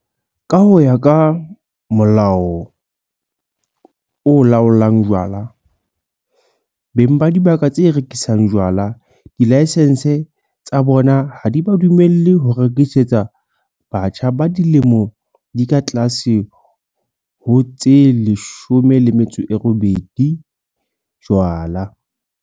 Ka ho ya ka Molao o Laolang Jwala, beng ba dibaka tse rekisang jwala dilaesense tsa bona ha di ba dumelle ho rekisetsa batjha ba dilemo di ka tlase ho tse 18 jwala.